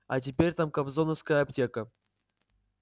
а теперь там кобзоновская аптека